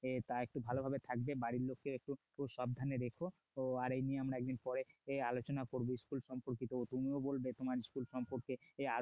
তাই একটু ভালোভাবে থাকবে বাড়ির লোককে একটু একটু সাবধানে রেখো তো এই নিয়ে আমরা একদিন পরে আলোচনা করব school সম্পর্কিত তুমিও বলবে তোমার school সম্পর্কে